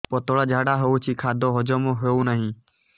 ପତଳା ଝାଡା ହେଉଛି ଖାଦ୍ୟ ହଜମ ହେଉନାହିଁ